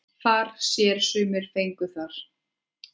Far sér sumir fengu þar.